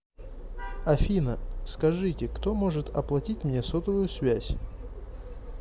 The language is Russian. афина скажите кто может оплатить мне сотовую связь